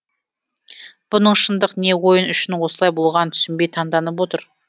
бұның шындық не ойын үшін осылай болғанын түсінбей таңданып отыр